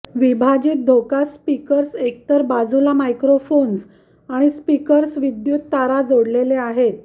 विभाजित धोका स्पीकर्स एकतर बाजूला मायक्रोफोन्स आणि स्पीकर्स विद्युत तारा जोडलेले आहेत